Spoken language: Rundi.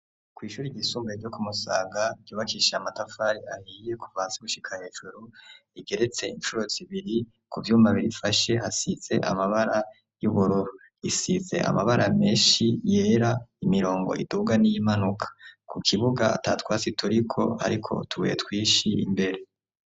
Kwishuri y isumbuye ryo ku Musanga ryubakishije amatafari ahiye kuva hasi gushika hejuru .Igeretse incuro zibiri ku vy'umabiri ifashe hasitse amabara y'ubururu risize amabara menshi yera imirongo iduga n'iyimpanuka .Ku kibuga atatwasi turiko ariko tubuye twinshi imbere.